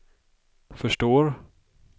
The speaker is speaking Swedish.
förstår